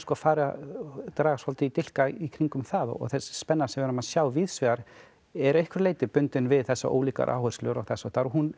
farið að draga svolítið í dilka í kringum það þessi spenna sem við erum að sjá víðsvegar er að einhverju leyti bundin við þessar ólíku áherslur og þess háttar